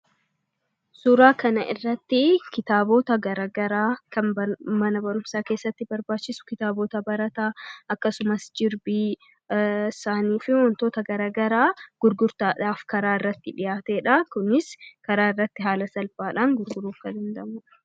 Suuraa kana irratti kitaabota garaagaraa kan mana barumsaa keessatti barbaachisu, kitaabota barataa akkasumas jirbii, saayinii fi waantota garaagaraa gurgutaadhaaf karaa irratti dhihaatedha. Kunis karaa irratti haala salphaadhaan gurguruuf nu danda'udha.